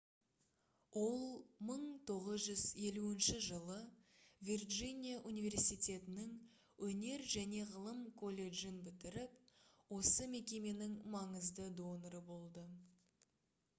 ол 1950 жылы вирджиния университетінің өнер және ғылым колледжін бітіріп осы мекеменің маңызды доноры болды